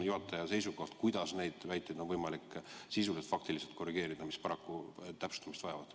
Milline on juhataja seisukoht, kuidas on võimalik neid väiteid, mis täpsustamist vajavad, sisuliselt ja faktiliselt korrigeerida?